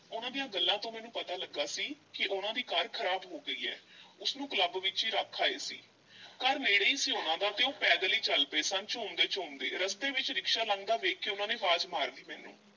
ਉਹਨਾਂ ਦੀਆਂ ਗੱਲਾਂ ਤੋਂ ਮੈਨੂੰ ਪਤਾ ਲੱਗਾ ਸੀ ਕਿ ਉਹਨਾਂ ਦੀ ਕਾਰ ਖ਼ਰਾਬ ਹੋ ਗਈ ਐ, ਉਸ ਨੂੰ ਕਲੱਬ ਵਿੱਚ ਈ ਰੱਖ ਆਏ ਸੀ ਘਰ ਨੇੜੇ ਈ ਸੀ ਉਹਨਾਂ ਦਾ ਤੇ ਉਹ ਪੈਦਲ ਈ ਚੱਲ ਪਏ ਸਨ ਝੂਮਦੇ-ਝੂਮਦੇ, ਰਸਤੇ ਵਿੱਚ ਰਿਕਸ਼ਾ ਲੰਘਦਾ ਵੇਖ ਕੇ ਉਹਨਾਂ ਨੇ ਵਾਜ ਮਾਰ ਲਈ ਮੈਨੂੰ।